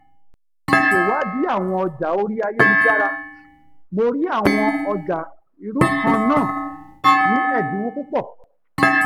lẹyìn ìsèwádìí àwọn ọjà orí ayélujára mo rí àwọn ọjà irú kan-náà ní ẹ̀dínwó púpọ̀